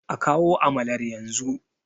a kawo amalar yanzu!